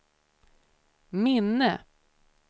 minne